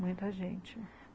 Muita gente.